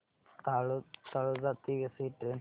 तळोजा ते वसई ट्रेन सांग